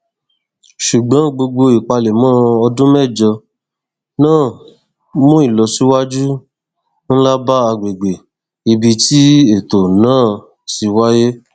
ṣùgbọn gbogbo ìpalẹmọ ọdún mẹjọ náà mú ilọsíwájú nlá bá agbègbè ibi tí ètò náà ti wáíyé